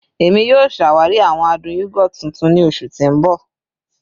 Emi yoo ṣawari awọn adun yogurt tuntun ni oṣu ti n bọ